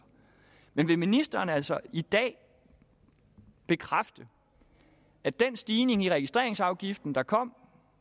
men vil ministeren altså i dag bekræfte at den stigning i registreringsafgiften der kom